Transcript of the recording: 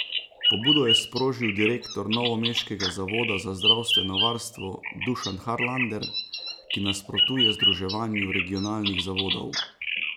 Pobudo je sprožil direktor novomeškega zavoda za zdravstveno varstvo Dušan Harlander, ki nasprotuje združevanju regionalnih zavodov.